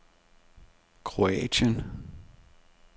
Kroatien